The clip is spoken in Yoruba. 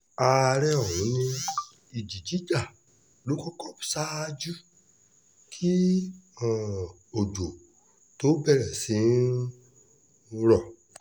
àárẹ̀ ọ̀hún ni ìjì jíjà ló kọ́kọ́ ṣáájú kí um òjò tóó bẹ̀rẹ̀ sí í n rọ̀